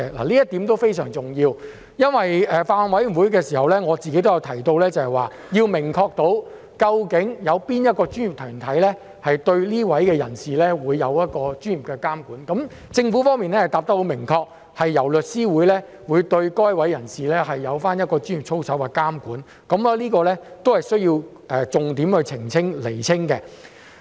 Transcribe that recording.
這一點非常重要，我曾在法案委員會提到要明確肯定究竟哪個專業團體會對該等人士作出專業的監管，而政府的答覆十分明確，表示會由律師會對該等人士作出專業操守的監管，這亦是需要重點釐清的事。